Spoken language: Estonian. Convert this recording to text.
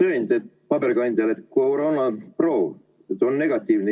tõend paberkandjal, et koroonaproov on negatiivne.